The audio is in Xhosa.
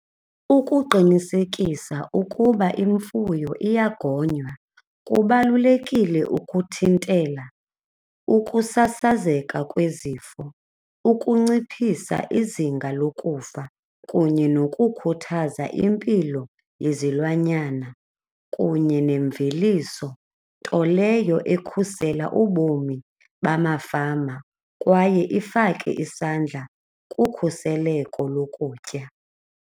Ukuqinisekisa ukuba imfuyo iyagonywa kubalulekile ukuthintela ukusasazeka kwezifo ukunciphisa izinga lokufa kunye nokukhuthaza impilo yezilwanyana kunye nemveliso, nto leyo ekhusela ubomi bamafama kwaye ifake isandla kukhuseleko lokutya.